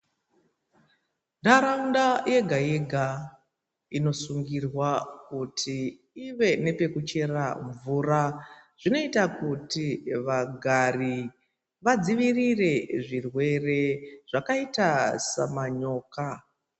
Nharaunda yega yega inosungirwa kuti ive nepekuchera mvura zvinoita kuti vagari vadzivirire zvirwere zvakaita samanyoka.